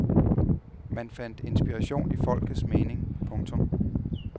Man fandt inspiration i folkets mening. punktum